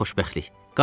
Nə böyük xoşbəxtlik.